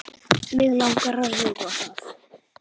Mig langar að rjúfa það.